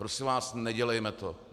Prosím vás, nedělejme to.